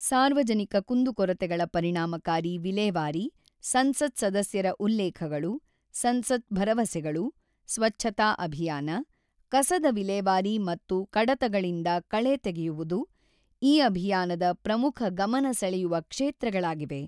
ಸಾರ್ವಜನಿಕ ಕುಂದುಕೊರತೆಗಳ ಪರಿಣಾಮಕಾರಿ ವಿಲೇವಾರಿ, ಸಂಸತ್ ಸದಸ್ಯರ ಉಲ್ಲೇಖಗಳು, ಸಂಸತ್ ಭರವಸೆಗಳು, ಸ್ವಚ್ಛತಾ ಅಭಿಯಾನ, ಕಸದ ವಿಲೇವಾರಿ ಮತ್ತು ಕಡತಗಳಿಂದ ಕಳೆ ತೆಗೆಯುವುದು ಈ ಅಭಿಯಾನದ ಪ್ರಮುಖ ಗಮನ ಸೆಳೆಯುವ ಕ್ಷೇತ್ರಗಳಾಗಿವೆ.